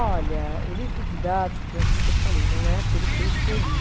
Olha, o livro didático é aquilo que eu falei, não é aquele que eu escolhi.